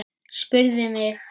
Spurðu mig.